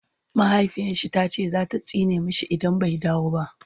mahaifiyarshi tace zata tsine mashi idan bai dawo ba